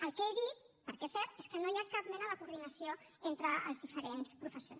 el que he dit perquè és cert és que no hi ha cap mena de coordinació entre els diferents professors